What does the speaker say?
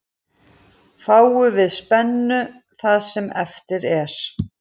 Fáum við spennu það sem eftir er.